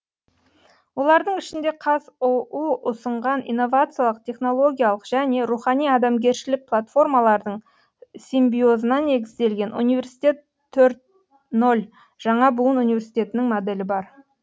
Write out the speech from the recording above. олардың ішінде қазұу ұсынған инновациялық технологиялық және рухани адамгершілік платформалардың симбиозына негізделген университет төрт нөл жаңа буын университетінің моделі бар